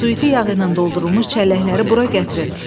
Suiti yağı ilə doldurulmuş çəlləkləri bura gətirin.